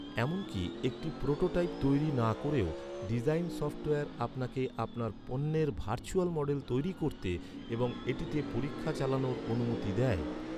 এমনকি একটি প্রোটোটাইপ তৈরি না করেও, ডিজাইন সফ্টওয়্যার আপনাকে আপনার পণ্যের ভার্চুয়াল মডেল তৈরি করতে এবং এটিতে পরীক্ষা চালানোর অনুমতি দেয়।